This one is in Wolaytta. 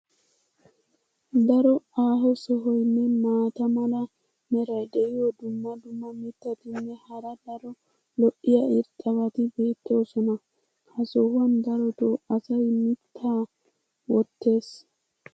Daro aaho sohoynne maata mala meray diyo dumma dumma mittatinne hara daro lo'iya irxxabati beetoosona. ha sohuwan darotoo asay mitaa wotees.